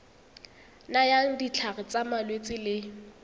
nayang ditlhare tsa malwetse le